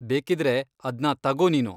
ಬೇಕಿದ್ರೆ ಅದ್ನ ತಗೋ ನೀನು.